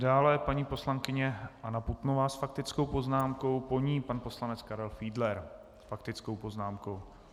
Dále paní poslankyně Anna Putnová s faktickou poznámkou, po ní pan poslanec Karel Fiedler s faktickou poznámkou.